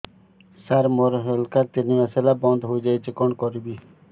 ସାର ମୋର health card ତିନି ମାସ ହେଲା ବନ୍ଦ ହେଇଯାଇଛି କଣ କରିବି